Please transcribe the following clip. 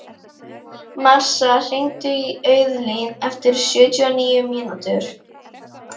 Marsa, hringdu í Auðlín eftir sjötíu og níu mínútur.